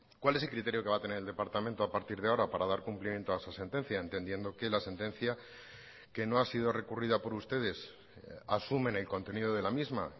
cuál es el criterio que va a tener el departamento a partir de ahora para dar cumplimiento a esa sentencia entendiendo que la sentencia que no ha sido recurrida por ustedes asumen el contenido de la misma